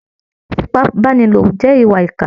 Ìfipábánilò jẹ́ ìwà ìkà